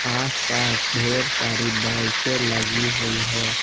आसपास ढेर सारी बाइके के लगी हुई है।